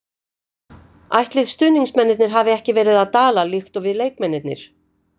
Ætlið stuðningsmennirnir hafi ekki verið að dala líkt og við leikmennirnir.